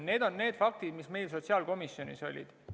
Need on need faktid, mis meil sotsiaalkomisjonis olid.